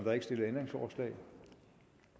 at når